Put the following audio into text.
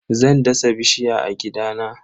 Zan dasa bishiya a gidana.